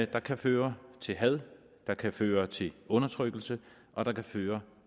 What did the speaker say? der kan føre til had der kan føre til undertrykkelse og der kan føre